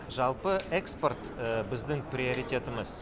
жалпы экспорт біздің приоритетіміз